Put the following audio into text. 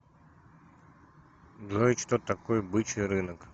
джой что такое бычий рынок